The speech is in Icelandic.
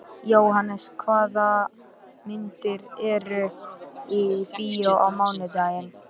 Jóhannes, hvaða myndir eru í bíó á mánudaginn?